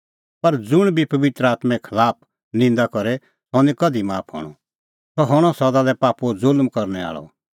पर ज़ुंण बी पबित्र आत्में खलाफ निंदा करे सह निं कधि माफ हणअ सह हणअ सदा लै पापो ज़ुल्म करने आल़अ